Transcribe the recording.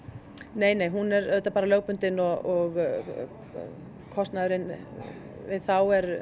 nei nei hún er auðvitað bara lögbundin og kostnaðurinn við þá er